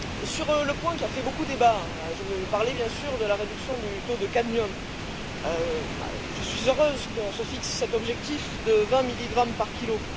Sur le point qui a fait beaucoup débat je veux parler bien sûr de la réduction du taux de cadmium je suis heureuse qu'on se fixe cet objectif de 20 milligrammes par kilo.